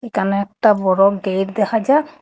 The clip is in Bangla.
কালা একটা বড় গেইট দেখা যা--